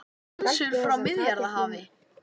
Skonsur frá Miðjarðarhafi